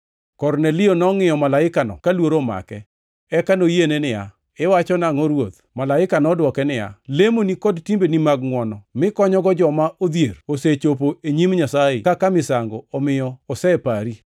Kornelio nongʼiyo malaikano ka luoro omake, eka noyiene niya, “Iwacho nangʼo, Ruoth?” Malaika nodwoke niya, “Lemoni kod timbeni mag ngʼwono mikonyogo joma odhier osechopo e nyim Nyasaye kaka misango omiyo osepari.